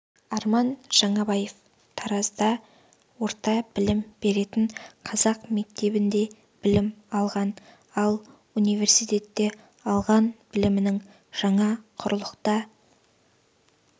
арман жаңабаев таразда орта білім беретін қазақ мектебінде білім алған ал университетте алған білімінің жаңа құрлықта